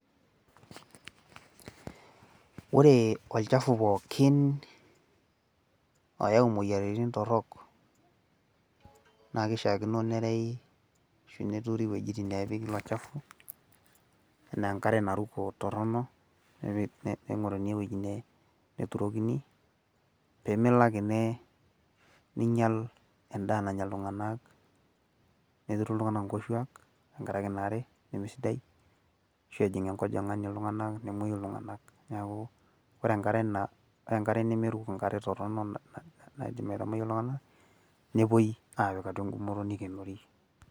ore olchafu pookin oyau imoyiaritin torok, naa kishaakino nerewi, ashu neturi iwuejitin naaishaakino nempiki ilo shafu, anaa enkare naruko toronok. neing'oruni ewueji neturrokini, pee melo ake neing'ial, edaa naya iltunganak netiru iltunganak inkoshuaak. tenkaraki ina are neme sidai. ashu ejing enkojing'ani iltunganak, nemuoyu iltunganak, neeku ore enkare nemeruko, toronok naaidim aitamoyia iltunganak, nepuoi aapik atua eng'umoto nikinori.